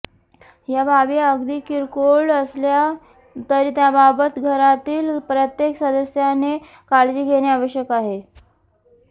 या बाबी अगदी किरकोळ असल्या तरी त्याबाबत घरातील प्रत्येक सदस्याने काळजी घेणे आवश्यक आहे